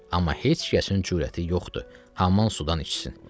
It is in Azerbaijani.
Amma heç kəsin cürəti yoxdur hamam sudan içsin.